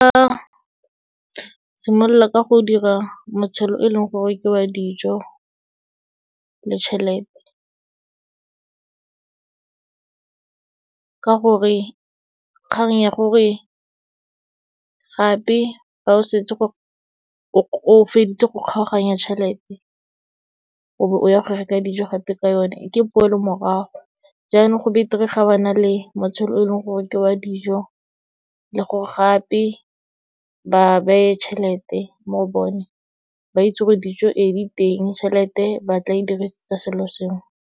Nka simolola ka go dira motshelo o leng gore ke wa dijo le tšhelete, ka gore kgang ya gore gape fa o setse o feditse go kgaoganya tšhelete, o bo o ya go reka dijo gape ka yone, ke poelo morago. Jaanong, go beter-e ga ba na le motshelo o leng gore ke wa dijo, le gore gape ba beye tšhelete mo bone, ba itse gore dijo ee, di teng, tšhelete ba tla e dirisetsa selo sengwe.